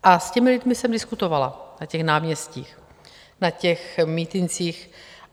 A s těmi lidmi jsem diskutovala na těch náměstích, na těch mítincích.